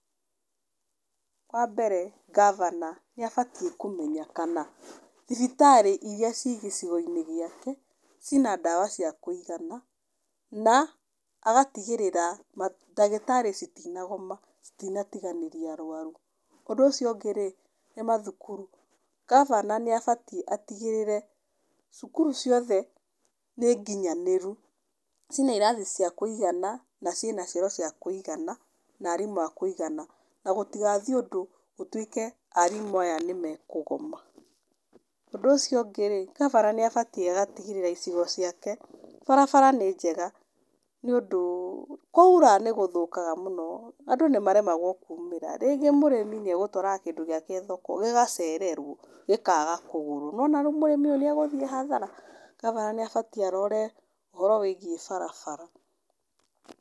Wa mbere ngabana nĩ abatiĩ kũmenya kana thibitarĩ iria ciĩ gĩcigo-inĩ gĩake cina ndawa cia kũigana, na agatigĩrĩra ma ndagĩtarĩ citinagoma, citinatiganĩria arwaru, ũndũ ũcio ũngĩrĩ, nĩ mathukuru, ngabana nĩ abatiĩ atigĩrĩre, cukuru ciothe nĩ nginyanĩru, cina irathi cia kũigana, na ciĩna cioro cia kũigana, na arimũ akũigana, na gũtigathiĩ ũndũ gũtuĩke arimũ aya nĩ mekũgoma, ũndũ ũcio ũngĩrĩ, ngabana nĩ abatiĩ agatigĩrĩra icigo ciake, barabara nĩ njega, nĩ ũndũ kwaira nĩ gũthũkaga mũno, andũ nĩ maremagwo kũmĩra rĩngĩ mũrĩmi nĩ egũtwaraga kĩndũ gĩake thoko gĩgacererwo, gĩkaga kũgũrwo, nĩ wona mũrĩmi ũyũ nĩ egũthiĩ hathara, ngabana nĩ abatiĩ arore ũhoro wĩgiĩ barabara.